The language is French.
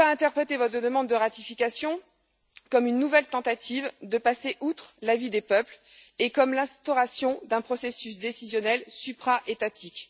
Comment ne pas interpréter votre demande de ratification comme une nouvelle tentative de passer outre l'avis des peuples et comme l'instauration d'un processus décisionnel supra étatique?